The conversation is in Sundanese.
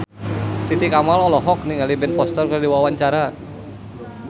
Titi Kamal olohok ningali Ben Foster keur diwawancara